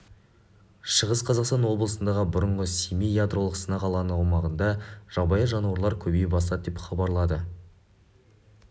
шығыс қазақстан облысындағы бұрынғы семей ядролық сынақ алаңы аумағында жабайы жануарлар көбейе бастады деп хабарлады кз